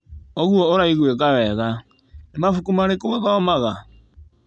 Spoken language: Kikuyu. ũguo ũraigwĩka wega. Nĩ mabuku marĩkũ ũthomaga?